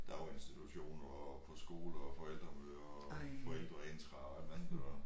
Daginstitutioner og på skole og forældremøder og forældreintra og hvad andet det nu var